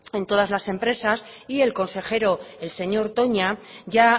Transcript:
en todas las empresas y el consejero el señor toña ya